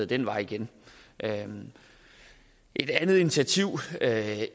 den vej igen et andet initiativ